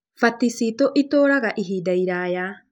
Fati citũ itũũraga ihinda iraya.